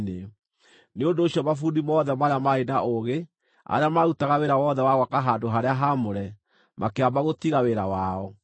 Nĩ ũndũ ũcio mabundi mothe marĩa maarĩ na ũũgĩ, arĩa maarutaga wĩra wothe wa gwaka handũ-harĩa-haamũre, makĩamba gũtiga wĩra wao,